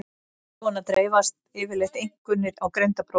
Svona dreifast yfirleitt einkunnir á greindarprófum.